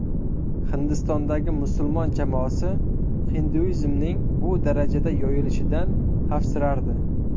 Hindistondagi musulmon jamoasi hinduizmning bu darajada yoyilishidan xavfsirardi.